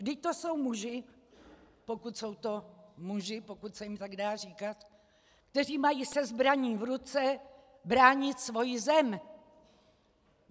Vždyť to jsou muži, pokud jsou to muži, pokud se jim tak dá říkat, kteří mají se zbraní v ruce bránit svoji zem.